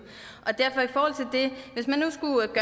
hvis man nu skulle